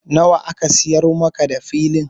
Nawa aka siyar maka da Filin?